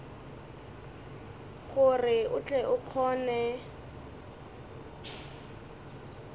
gore o tle o kgone